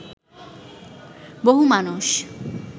বহু মানুষ